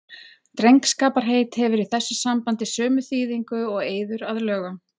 Drengskaparheit hefur í þessu sambandi sömu þýðingu og eiður að lögum.